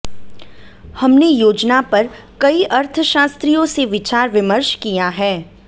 हमने योजना पर कई अर्थशास्त्रियों से विचार विमर्श किया है